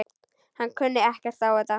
Hann kunni ekkert á þetta.